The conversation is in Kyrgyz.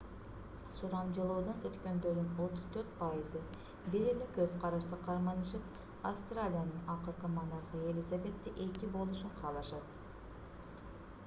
сурамжылоодон өткөндөрдүн 34%ы бир эле көз карашты карманышып автралиянын акыркы монархы елизавета ii болушун каалашат